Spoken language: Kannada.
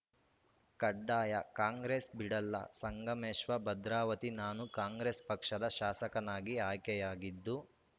ಕಡ್ಡಾಯ ಕಾಂಗ್ರೆಸ್‌ ಬಿಡಲ್ಲ ಸಂಗಮೇಶ್ವ ಭದ್ರಾವತಿ ನಾನು ಕಾಂಗ್ರೆಸ್‌ ಪಕ್ಷದ ಶಾಸಕನಾಗಿ ಆಯ್ಕೆಯಾಗಿದ್ದು